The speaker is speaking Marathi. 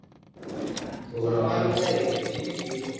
माणूस नाही, alien आहे alien.